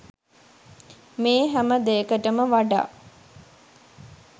මේ හැම දෙයකට ම වඩා